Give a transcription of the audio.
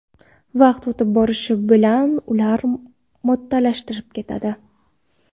Vaqt o‘tib borishi bilan ular mo‘rtlashib ketadi.